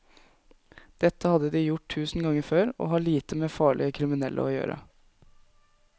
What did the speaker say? Dette hadde de gjort tusen ganger før og har lite med farlige kriminelle å gjøre.